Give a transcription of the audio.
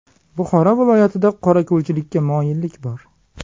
Buxoro viloyatida qorako‘lchilikka moyillik bor.